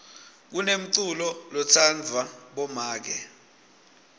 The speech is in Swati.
kunenculo lotsandvwa bomake